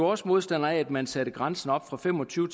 også modstandere af at man satte grænsen op fra fem og tyve